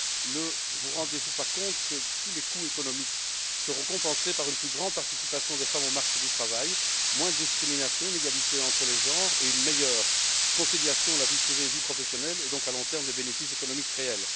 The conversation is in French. Ne vous rendez vous pas compte que tous les coûts économiques seront compensés par une plus grande participation des femmes au marché du travail, moins de discrimination, une égalité entre les genres et une meilleure conciliation de la vie privée et de la vie professionnelle et donc, à long terme, des bénéfices économiques réels?